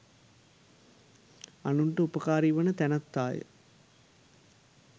අනුන්ට උපකාරීවන තැනැත්තාය.